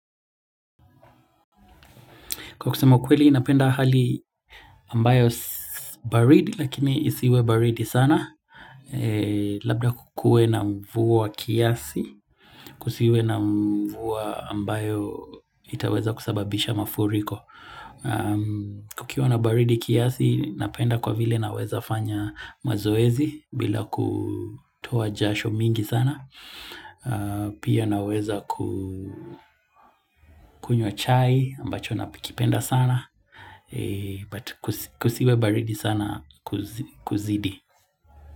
Kwa kusema kweli, napenda hali ambayo baridi, lakini isiwe baridi sana. Labda kukuwe na mvua kiasi, kusiwe na mvua ambayo itaweza kusababisha mafuriko. Kukiwa na baridi kiasi, napenda kwa vile naweza fanya mazoezi bila kutoa jasho mingi sana. Pia naweza kukunywa chai ambacho nakipenda sana. But kusiwe baridi sana kuzidi.